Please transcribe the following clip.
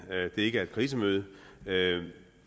ikke er et krisemøde det